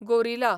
gorilla